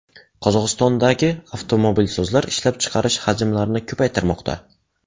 Qozog‘istondagi avtomobilsozlar ishlab chiqarish hajmlarini ko‘paytirmoqda.